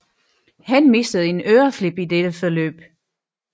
Han mistede en øreflip i dette forløb